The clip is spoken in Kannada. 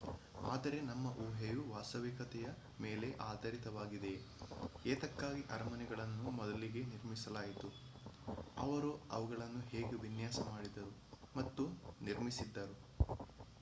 ಆದರೆ ನಮ್ಮ ಊಹೆಯು ವಾಸ್ತವಿಕತೆಯ ಮೇಲೆ ಆಧಾರಿತವಾಗಿದೆಯೇ ಏತಕ್ಕಾಗಿ ಅರಮನೆಗಳನ್ನು ಮೊದಲಿಗೆ ನಿರ್ಮಿಸಲಾಯಿತು ಅವರು ಅವುಗಳನ್ನು ಹೇಗೆ ವಿನ್ಯಾಸ ಮಾಡಿದರು ಮತ್ತು ನಿರ್ಮಿಸಿದರು